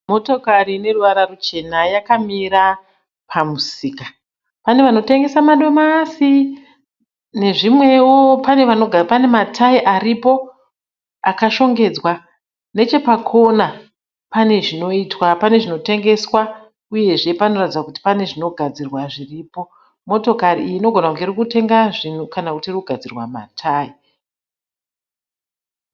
Motokari ine ruvara ruchena yakamira pamusika. Pane vanotengesa madomasi nezvimwewo. Pane matayi aripo akashongedzwa. Nechepakona pane zvinoitwa, pane zvinotengeswa uyezve panoratidza kuti pane zvinogadzirwa zviripo uyezve motokari iyi inogona kunge iri kutenga zvinhu kana iri kugadzirwa matayi.